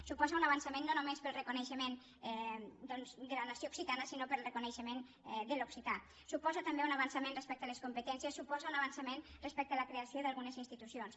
suposa un avançament no només per al reco·neixement de la nació occitana sinó per al reconeixe·ment de l’occità suposa també un avançament respec·te a les competències suposa un avançament respecte a la creació d’algunes institucions